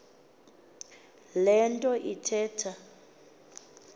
le nto ithetha